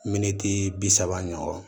Miniti bi saba ɲɔgɔn